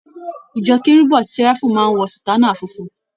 Ìjọ kérúbù ati séráfù máa ń wọ sùtánà funfun.